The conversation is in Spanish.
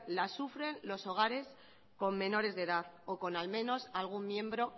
la sufren los hogares con menores de edad o con al menos algún miembro